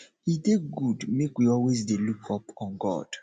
e dey good make we always dey look up on god